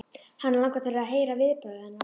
Hana langar til að heyra viðbrögð hennar.